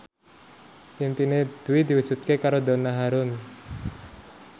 impine Dwi diwujudke karo Donna Harun